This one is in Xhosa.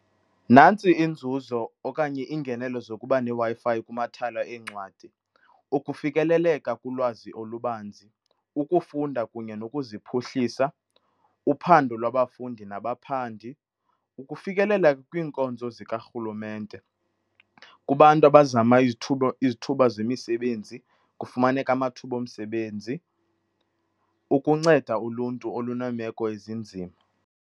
Nantsi inzuzo okanye iingenelo zokuba neWi-Fi kumathala eencwadi. Ukufikeleleka kulwazi olubanzi, ukufunda kunye nokuziphuhlisa, uphando lwabafundi nabaphandi, ukufikelela kwiinkonzo zikarhulumente kubantu abazama izithuba izithuba zemisebenzi, kufumaneke amathuba omsebenzi, ukunceda uluntu oluneemeko ezinzima.